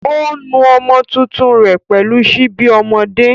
Ó ń nu ọmọ tuntun rẹ̀ pẹ̀lú síbi ọmọdé.